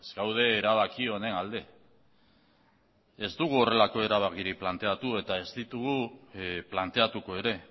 gaude erabaki honen alde ez dugu horrelako erabakirik planteatu eta ez ditugu planteatuko ere